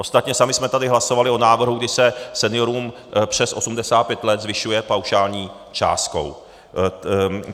Ostatně sami jsme tady hlasovali o návrhu, kdy se seniorům přes 85 let zvyšuje paušální částkou.